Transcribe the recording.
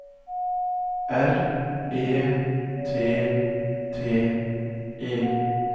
R E T T E